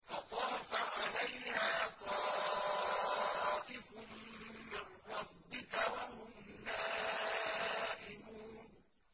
فَطَافَ عَلَيْهَا طَائِفٌ مِّن رَّبِّكَ وَهُمْ نَائِمُونَ